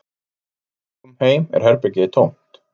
Þegar við komum heim er herbergið tómt